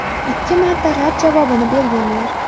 Ikki marta rad javobini berganlar.